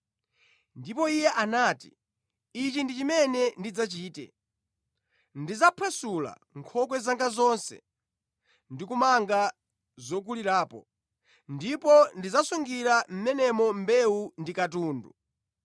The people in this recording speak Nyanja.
“Ndipo Iye anati, ichi ndi chimene ndidzachite: Ndidzaphwasula nkhokwe zanga zonse ndi kumanga zokulirapo, ndipo ndidzasungira mʼmenemo mbewu ndi katundu.